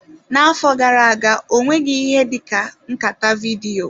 N'afọ gara aga, ọ nweghị ihe dị ka nkata vidiyo.